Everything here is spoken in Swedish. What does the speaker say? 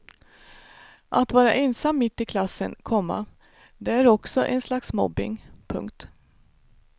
Att vara ensam mitt i klassen, komma det är också en slags mobbing. punkt